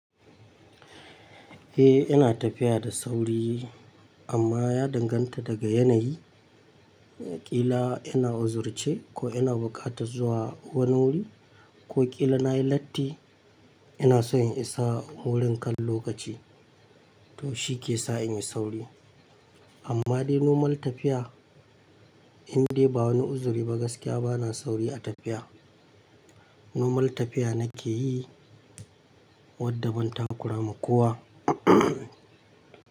Eh, ina tafiya da sauri amma ya danganta daga yanayi. Kila ina uzurce ko ina buƙatar zuwa wani wuri ko kila na yi latti, ina so in isa wurin kan lokaci to shi ke sa in yi sauri. Amma dai nomal tafiya, in dai ba wani uzuri ba gaskiya bana sauri a tafiya. Nomal tafiya na ke yi wadda ban takura makowa.